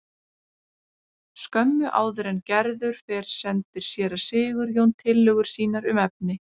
Skömmu áður en Gerður fer sendir séra Sigurjón tillögur sínar um efni.